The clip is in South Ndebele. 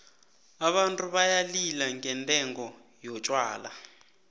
abantu bayalila ngendengo yotjhwala